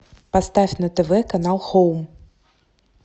поставь на тв канал хоум